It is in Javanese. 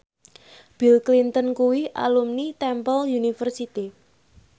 Bill Clinton kuwi alumni Temple University